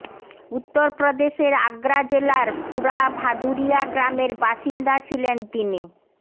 উত্তর প্রদেশের আগ্রা জেলার পুরা ভাদুরিয়া গ্রামের বাসিন্দা ছিলেন তিনি